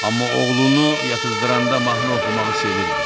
Amma oğlunu yatızdıranda mahnı oxumağı sevirdi.